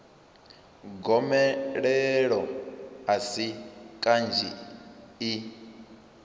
gomelelo a si kanzhi i